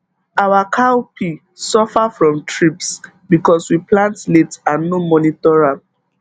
our cowpea suffer from thrips because we plant late and no monitor am